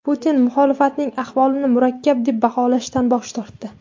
Putin muxolifatning ahvolini murakkab deb baholashdan bosh tortdi.